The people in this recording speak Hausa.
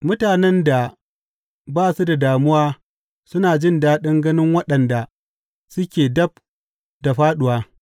Mutanen da ba su da damuwa suna jin daɗin ganin waɗanda suke dab da fāɗuwa.